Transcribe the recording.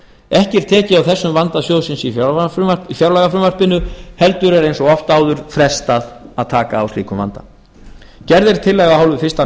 ekki er tekið á þessum vanda sjóðsins í fjárlagafrumvarpinu heldur er eins og oft áður frestað að taka á slíkum vanda gerð er tillaga af hálfu fyrsti minni